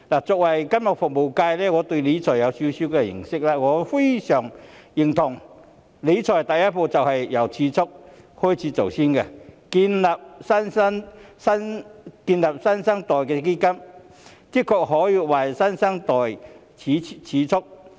作為金融服務界代表，我對理財有少許認識，我非常認同理財第一步是由儲蓄做起，建立"新生代基金"的確可以為新生代儲蓄。